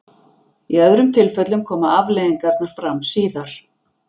í öðrum tilfellum koma afleiðingarnar fram síðar